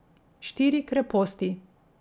Štiri kreposti.